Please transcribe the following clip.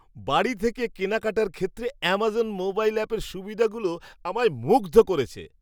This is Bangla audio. বাড়ি থেকে কেনাকাটার ক্ষেত্রে অ্যামাজন মোবাইল অ্যাপের সুবিধাগুলো আমায় মুগ্ধ করেছে।